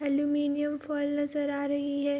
Aluminium foil नजर आ रही है।